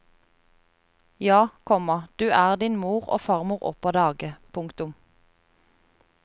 Ja, komma du er din mor og farmor opp av dage. punktum